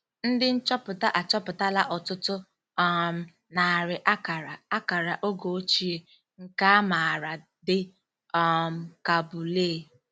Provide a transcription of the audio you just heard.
Ndị nchọpụta achọpụtala ọtụtụ um narị akara akara oge ochie, nke a maara dị um ka bullae.